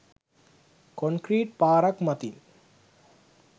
Concrete පාරක් මතින්.